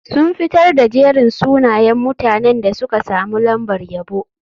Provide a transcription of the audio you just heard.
Sun fitar da jerin sunayen mutanen da suka samu lambar yabo.